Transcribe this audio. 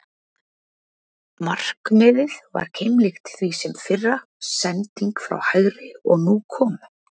Markið var keimlíkt því fyrra, sending frá hægri og nú kom???